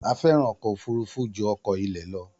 A fẹràn ọkọ òfurufú ju ọkọ ilẹ lọ